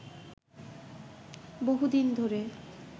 বহুদিন ধরে